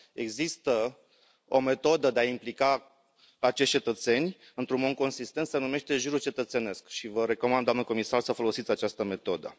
Există o metodă de a i implica pe cetățeni într un mod consistent se numește juriu cetățenesc și vă recomand, doamnă comisar, să folosiți această metodă.